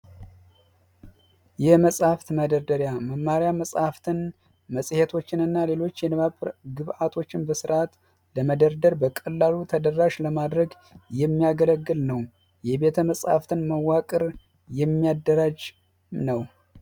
የመፅሀፍት መደርደሪያ መማሪ መፅሀፍትን ፣መፅሄቶችን እና ሌሎች የንባብ ግብዓቶችን በስርዓት በመደርደር በቀላሉ ተደራሽ ለማድረግ የሚያገለግል ነው። የቤተመፅሀፍትን መዋቅር የሚያደራጅ ነው።